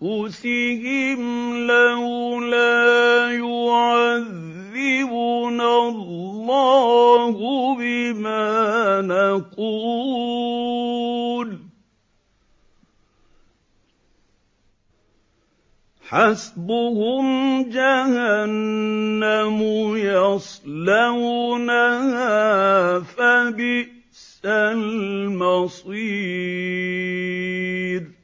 أَنفُسِهِمْ لَوْلَا يُعَذِّبُنَا اللَّهُ بِمَا نَقُولُ ۚ حَسْبُهُمْ جَهَنَّمُ يَصْلَوْنَهَا ۖ فَبِئْسَ الْمَصِيرُ